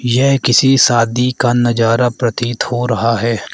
यह किसी शादी का नजारा प्रतीत हो रहा है।